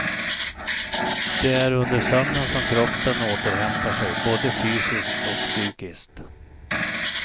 Det är under sömnen som kroppen återhämtar sig, både fysiskt och psykiskt.